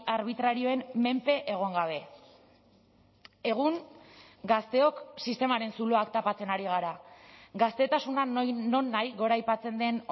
arbitrarioen menpe egon gabe egun gazteok sistemaren zuloak tapatzen ari gara gaztetasuna nonahi goraipatzen den